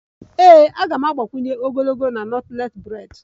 #NAME?